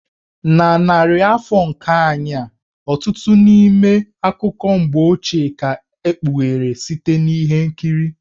Na narị afọ nke anyị a, ọtụtụ n'ime akụkọ mgbe ochie ka e kpughere site na ihe nkiri.